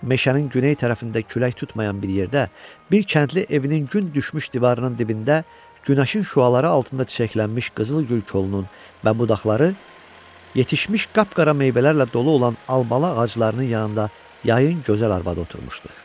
Meşənin güney tərəfində külək tutmayan bir yerdə, bir kəndli evinin gün düşmüş divarının dibində, günəşin şüaları altında çiçəklənmiş qızıl gül kolunun və budaqları, yetişmiş qapqara meyvələrlə dolu olan almalı ağaclarının yanında yayın gözəl arvadı oturmuşdu.